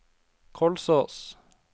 Kolsås